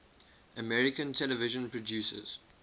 american television producers